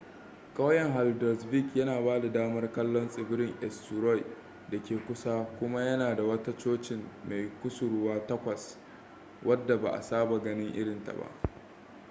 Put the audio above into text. kauyen haldarsvík yana ba da damar kallon tsibirin eysturoy da ke kusa kuma yana da wata cocin mai kusurwa takwas wadda ba saba ganin irin ta ba